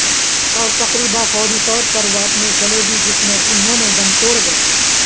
اور تقریبا فوری طور پر وہ اپنے صلیبی جس میں انہوں نے دم توڑ گئے